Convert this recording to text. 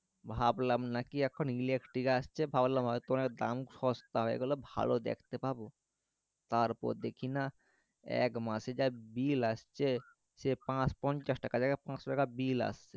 ভাবলাম নাকি এখন electric আসছে ভাবলাম হয়তো এর দাম সস্তা হয়ে গেলো ভালো দেখতে পাবো তার পর দেখি না একমাসে যা bill আসছে সেই পঞ্চাশ টাকা থেকে পাঁচশো টাকা bill আসছে